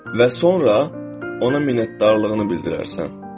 Və sonra ona minnətdarlığını bildirərsən.